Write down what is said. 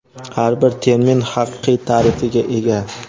Har bir termin haqiqiy ta’rifiga ega.